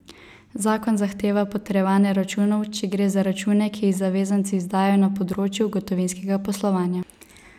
Zakon zahteva potrjevanje računov, če gre za račune, ki jih zavezanci izdajajo na področju gotovinskega poslovanja.